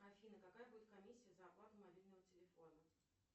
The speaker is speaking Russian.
афина какая будет комиссия за оплату мобильного телефона